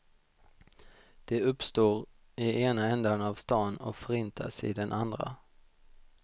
De uppstår i ena ändan av stan och förintas i den andra.